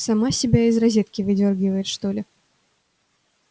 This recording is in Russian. сама себя из розетки выдёргивает что-ли